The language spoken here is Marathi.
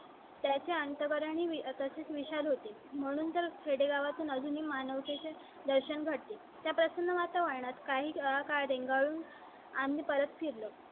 त्याचे अंतर आणि तशीच विशाल होती म्हणून तर खेडेगावा तून अजूनही मानवते चे दर्शन घडते. त्या प्रसन्न वातावरणात काही काळ ऊन आम्ही परत फिर लो.